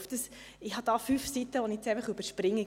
Ich habe hier fünf Seiten, die ich jetzt einfach überspringe;